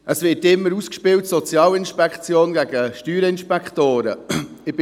Es werden immer die Sozialinspektoren gegen die Steuerinspektoren ausgespielt.